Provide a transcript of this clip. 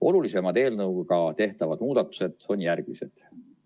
Olulisemad eelnõuga tehtavad muudatused on järgmised.